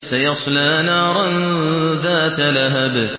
سَيَصْلَىٰ نَارًا ذَاتَ لَهَبٍ